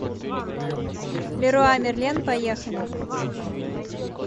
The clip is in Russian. леруа мерлен поехали